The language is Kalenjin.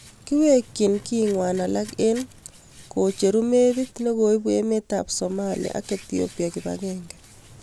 Kiiweekchi kiing'waan alak eng' kocheru meebit negoibuu emet ap somalia ak ethiopia kipageenge